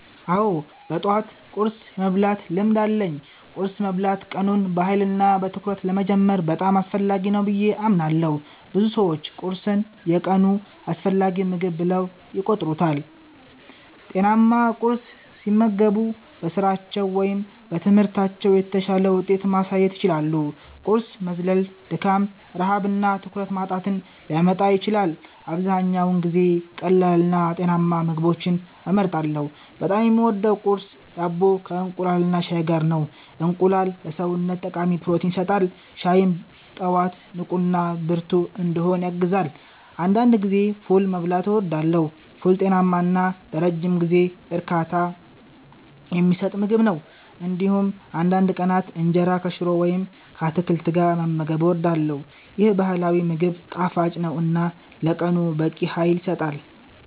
አዎ፣ በጠዋት ቁርስ የመብላት ልምድ አለኝ። ቁርስ መብላት ቀኑን በኃይልና በትኩረት ለመጀመር በጣም አስፈላጊ ነው ብዬ አምናለሁ። ብዙ ሰዎች ቁርስን የቀኑ አስፈላጊ ምግብ ብለው ይቆጥሩታል። ጤናማ ቁርስ ሲመገቡ በስራቸው ወይም በትምህርታቸው የተሻለ ውጤት ማሳየት ይችላሉ። ቁርስ መዝለል ድካም፣ ረሃብ እና ትኩረት ማጣትን ሊያመጣ ይችላል። አብዛኛውን ጊዜ ቀላልና ጤናማ ምግቦችን እመርጣለሁ። በጣም የምወደው ቁርስ ዳቦ ከእንቁላልና ሻይ ጋር ነው። እንቁላል ለሰውነት ጠቃሚ ፕሮቲን ይሰጣል፣ ሻይም ጠዋት ንቁና ብርቱ እንድሆን ያግዛል። አንዳንድ ጊዜ ፉል መብላትም እወዳለሁ። ፉል ጤናማ እና ለረጅም ጊዜ እርካታ የሚሰጥ ምግብ ነው። እንዲሁም አንዳንድ ቀናት እንጀራ ከሽሮ ወይም ከአትክልት ጋር መመገብ እወዳለሁ። ይህ ባህላዊ ምግብ ጣፋጭ ነው እና ለቀኑ በቂ ኃይል ይሰጣል።